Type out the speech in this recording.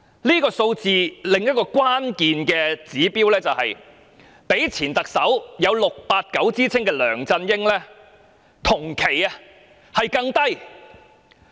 這數字的另一關鍵指標是比起有 "689" 之稱的前特首梁振英，她的同期分數更低。